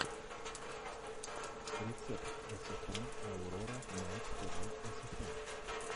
рецепт эсэфэм аурора найт тв эсэфэм